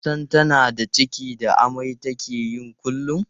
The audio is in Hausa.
Sun san tana da ciki da amai da take yi kullum.